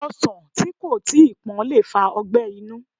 Ọsàn tí kò tíi pọ́n lè fa ọgbẹ́ inú